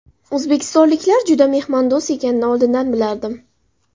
O‘zbekistonliklar juda mehmondo‘st ekanini oldindan bilardim.